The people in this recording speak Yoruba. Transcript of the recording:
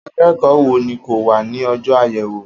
Akẹ́kọ̀ọ́ wo ni kò wá ní ọjọ́ àyẹ̀wò